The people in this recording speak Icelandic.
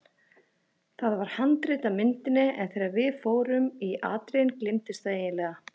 Það var handrit að myndinni en þegar við fórum í atriðin gleymdist það eiginlega.